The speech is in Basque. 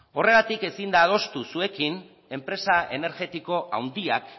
horregatik ezin daiteke adostu zuekin enpresa energetiko handiak